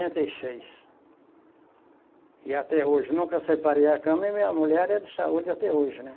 e seis, e até hoje, nunca separei a cama e minha mulher é área de saúde até hoje, né?